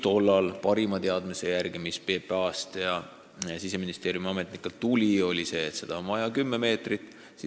Tolleaegne parim teadmine, mis PPA-st ja Siseministeeriumi ametnikelt tuli, oli see, et piiririba peab olema kümme meetrit lai.